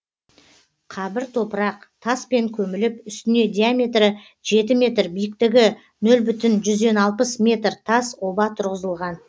қабір топырақ таспен көміліп үстіне диаметрі жеті метр биіктігі нөл бүтін жүзден алты метр тас оба тұрғызылған